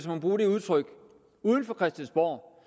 må bruge det udtryk uden for christiansborg